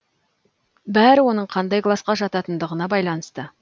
бәрі оның қандай класқа жататындығына байланысты